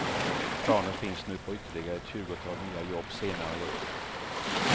Planer finns nu på ytterligare ett tjugotal nya jobb senare i år.